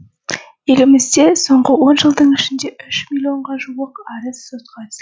елімізде соңғы он жылдың ішінде үш миллонға жуық арыз сотқа түскен